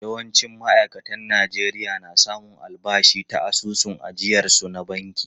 Yawancin ma’aikatan Najeriya na samun albashi ta asusun ajiyarsu na banki.